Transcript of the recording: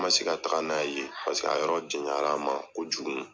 N ma se ka taga n'a ye yen paseke a yɔrɔ janyara n ma kojugu.